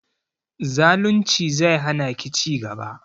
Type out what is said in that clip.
Zalunci zai hana ki ci gaba